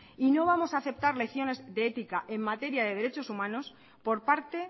y no vamos a aceptar lecciones de ética en materia de derechos humanos por parte